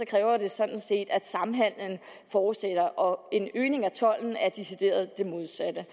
kræver det sådan set at samhandelen fortsætter og en øgning af tolden er decideret det modsatte